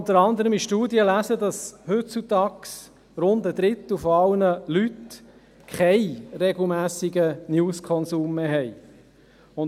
Unter anderem kann man in Studien lesen, dass heutzutage rund ein Dritter aller Leute keinen regelmässigen News-Konsum mehr hat.